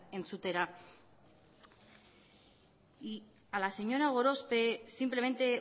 entzutera y a la señora gorospe simplemente